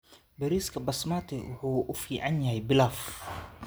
Bariiska Basmati wuxuu u fiican yahay pilaf.